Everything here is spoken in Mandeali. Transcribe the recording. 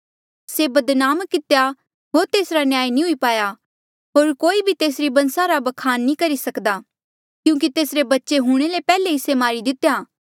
से बदनाम कितेया होर तेसरा न्याय नी हुई पाया होर कोई भी तेसरी बंसा रा ब्खान नी करी सकदा क्यूंकि तेसरे बच्चे हूंणे ले पैहले ही से मारी दितेया